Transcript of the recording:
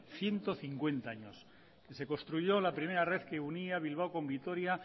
ciento cincuenta años que se construyó la primera red que unía bilbao con vitoria